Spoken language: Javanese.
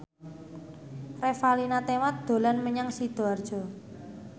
Revalina Temat dolan menyang Sidoarjo